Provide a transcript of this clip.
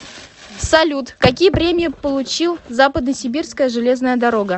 салют какие премии получил западносибирская железная дорога